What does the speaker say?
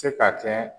Se ka kɛ